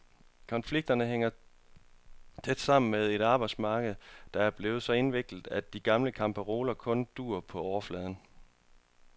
Konflikterne hænger tæt sammen med et arbejdsmarked, der er blevet så indviklet, at de gamle kampparoler kun duer på overfladen.